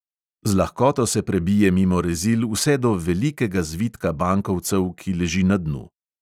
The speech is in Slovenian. Z lahkoto se prebije mimo rezil vse do velikega zvitka bankovcev, ki leži na dnu.